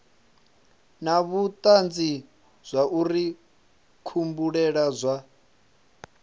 na vhutanzi zwauri kubulele kwa